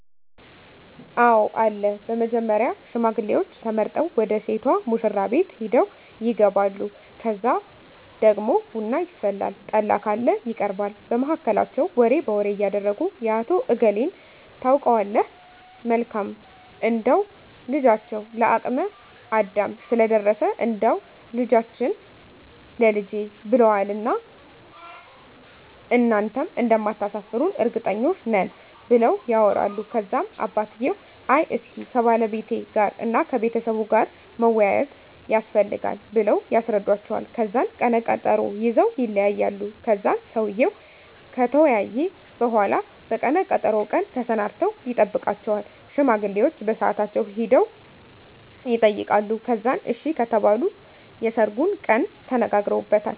አወ አለ በመጀመሪያ ሽማግሌዎች ተመርጠው ወደ ሴቷ ሙሽራቤት ሄደው ይጋባሉ ከዛ ደግሞ ቡና ይፈላል ጠላ ካለ ይቀርባል በመሀከላቸው ወሬ በወሬ እያረጉ የአቶ እገሌን ታውቀዋለህ መልካም እንደው ልጃቸው ለአቅመ አዳም ስለደረሰ እንዳው ልጃችህን ላልጄ ብለውዋን እና እናንተም እንደማታሰፍሩን እርግጠኞች ነን ብለው ያወራሉ ከዛም አባትየው አይ እስኪ ከባለቤቴ ጋር እና ከቤተሰቡ ጋር መወያያት የስፈልጋል ብለው ያስረዱዎቸዋል ከዛን ቀነ ቀጠሮ ይዘወ ይለያያሉ ከዛን ሰውየው ከተወያየ በሁላ በቀነ ቀጠሮው ቀን ተሰናድተው ይጠብቃቸዋል ሽማግሌዎቸ በሳአታቸው ሄደው የጠይቃሉ ከዛን አሺ ከተባሉ የሰርጉን ቀን ተነጋግረውበታል